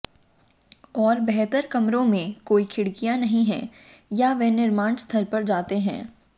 और बेहतर कमरों में कोई खिड़कियां नहीं हैं या वे निर्माण स्थल पर जाते हैं